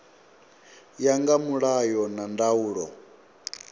ya nga mulayo na ndaulo